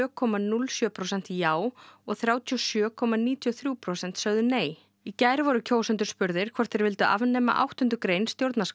komma núll sjö prósent já og þrjátíu og sjö komma níutíu og þrjú prósent sögðu nei í gær voru kjósendur spurðir hvort þeir vildu afnema áttundu grein